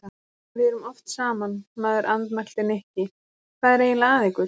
Við erum oft saman, maður andmælti Nikki, hvað er eiginlega að ykkur?